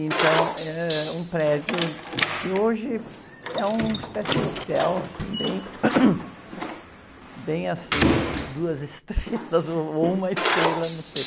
Então, eh, é um prédio que hoje é uma espécie de hotel, assim, bem, bem assim, duas estrelas ou uma estrela, não sei.